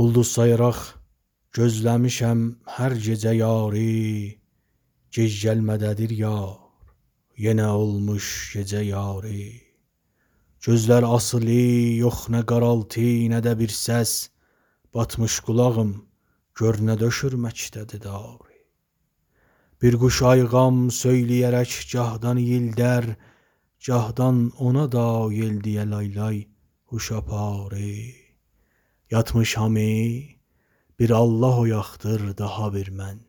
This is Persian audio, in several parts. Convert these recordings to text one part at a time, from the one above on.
اولدوز سایاراق گوزله میشم هر گیجه یاری گج گلمه ده دیر یار یینه اولموش گیجه یاری گؤزلر آسیلی یوخ نه قارالتی نه ده بیر سس باتمیش قولاغیم گؤرنه دؤشور مکده دی داری بیر قوش آییغام سویلیه رک گاهدان اییلده ر گاهدان اونودا ییل دییه لای-لای هوش آپاری یاتمیش هامی بیر آللاه اویاقدیر داها بیر من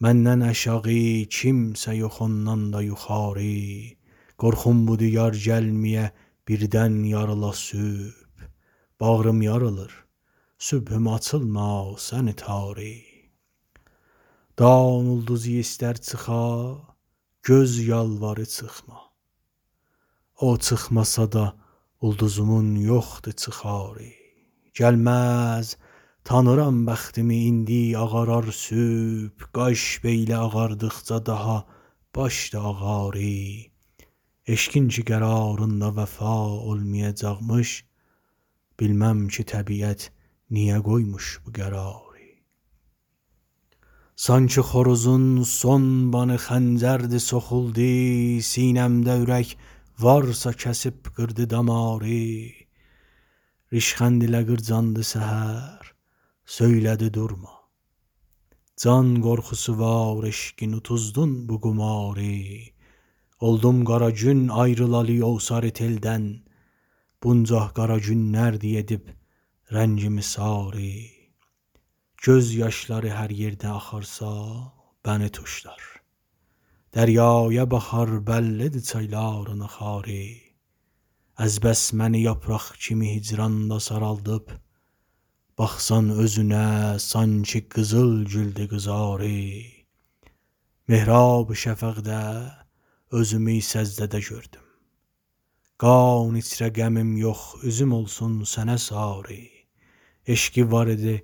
مندن آشاغی کیمسه یوخ اوندان دا یوخاری قورخوم بودی یار گلمه یه بیردن یاریلا صبح باغریم یاریلار صبحوم آچیلما سنی تاری دان اولدوزی ایسته ر چیخا گؤز یالواری چیخما او چیخماسادا اولدوزومون یوخدی چیخاری گلمز تانیرام بختیمی ایندی آغارار صبح قاش بیله آغاردیقجا داها باش دا آغاری عشقین کی قراریندا وفا اولمیاجاقمیش بیلمم کی طبیعت نیه قویموش بو قراری سانکی خوروزون سون بانی خنجردی سوخولدی سینه مده أورک وارسا کسیب قیردی داماری ریشخندله قیرجاندی سحر سویله دی دورما جان قورخوسی وار عشقین اوتوزدون بو قماری اولدوم قره گون آیریلالی او ساری تیلدن بونجا قره گونلردی ایدن رنگیمی ساری گؤز یاشلاری هر ییردن آخارسا منی توشلار دریایه باخار بللی دی چایلارین آخاری از بس منی یاپراق کیمی هیجرانلا سارالدیب باخسان اوزونه سانکی قیزیل گولدی قیزاری محراب شفقده یوزومی سجده ده گؤردوم قان ایچره غمیم یوخ اوزوم اولسون سنه ساری عشقی واریدی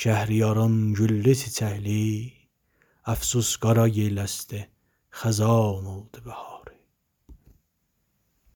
شهریارین گللی- چیچکلی افسوس قارا یل اسدی خزان اولدی بهاری